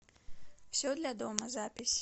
все для дома запись